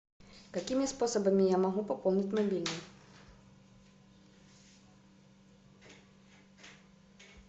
какими способами я могу пополнить мобильный